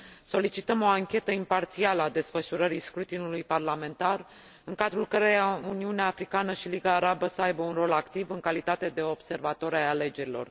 Solicităm o anchetă imparțială a desfășurării scrutinului parlamentar, în cadrul căreia Uniunea Africană și Liga Arabă să aibă un rol activ, în calitate de observatori ai alegerilor.